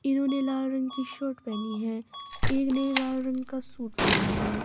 इन्होंने लाल रंग की शर्ट पहनी है एक ने लाल रंग का सूट पहना है।